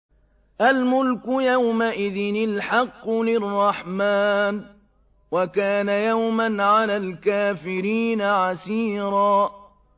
الْمُلْكُ يَوْمَئِذٍ الْحَقُّ لِلرَّحْمَٰنِ ۚ وَكَانَ يَوْمًا عَلَى الْكَافِرِينَ عَسِيرًا